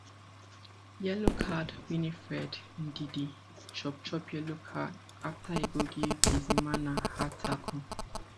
yellow card winifred ndidi chop chop yellow card afta e go give bizimana hard tackle